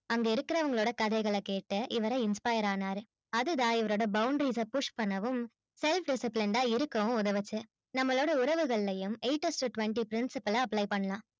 அங்க இருக்கறவங்க கதையை இவரு inspire ஆனார் அதுதான் இவரோட boundaries push பன்னவும் self disciplined இருக்கவும் உதவுச்சி நம்மளோட உறவுகளையும் eight of the twenty friends ல apply பண்ணலாம்